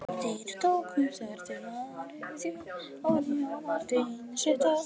Þeir tóku þegar til við að ryðja ofan í og Marteinn setti á sig staðinn.